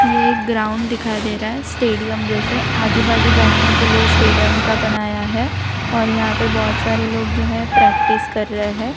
ये एक ग्राउंड दिखाई दे रहा है स्टेडियम जैसे आजू बाजू बैठने के लिए स्टेडियम का बनाया है और यहां पे बहोत सारे लोग जो है प्रैक्टिस कर रहे हैं।